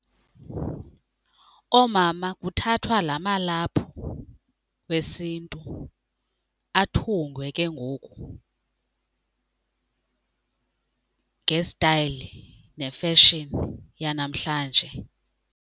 Oomama kuthathwa la malaphu wesiNtu athungwe ke ngoku ngestayile nefeshini yanamhlanje.